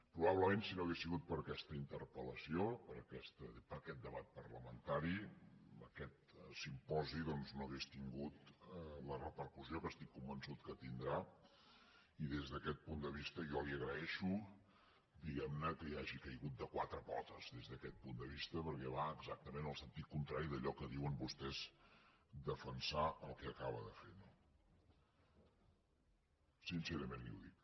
probablement si no hagués sigut per aquesta interpel·lació per aquest debat parlamentari aquest simposi doncs no hauria tingut la repercussió que estic convençut que tindrà i des d’aquest punt de vista jo li agraeixo diguemne que hi hagi caigut de quatre potes des d’aquest punt de vista perquè va exactament en el sentit contrari d’allò que diuen vostès defensar el que acaba de fer no sincerament li ho dic